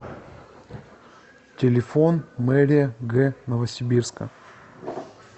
телефон мэрия г новосибирска